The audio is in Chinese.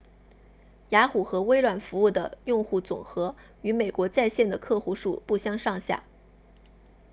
雅虎和微软服务的用户总和与美国在线的客户数不相上下